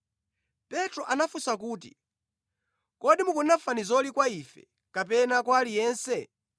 Petro anafunsa kuti, “Kodi mukunena fanizoli kwa ife, kapena kwa aliyense?”